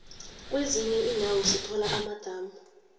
kwezinye indawo sithola amadamu